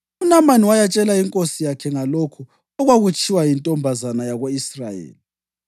UNamani wayatshela inkosi yakhe ngalokhu okwakutshiwo yintombazana yako-Israyeli.